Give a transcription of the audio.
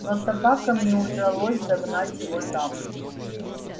но собакам не удавалось догнать его там